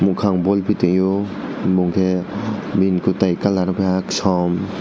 mwkang boipo tangyo bongke bini kwitai kalar kaha kasom.